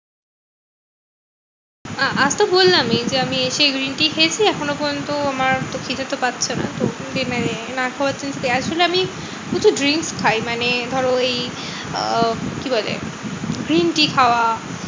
আ আজ তো বললামই যে আমি এসে green tea খেয়েছি এখনো পর্যন্ত আমার খিদেটা পাচ্ছে না। তো dinner এ না খাওয়া আসলে আমি কিছু drinks খাই মানে ধরো ওই আহ কি বলে? green tea খাওয়া।